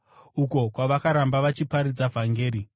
uko kwavakaramba vachiparidza vhangeri.